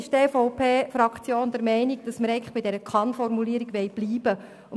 Die EVP-Fraktion ist der Meinung, dass wir bei der Kann-Formulierung bleiben wollen.